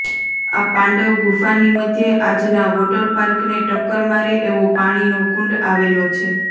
આ પાંડવ ગુફાની મધ્યે આજના વોટરપાર્કને ટક્કર મારે એવો પાણીનો કુંડ આવેલો છે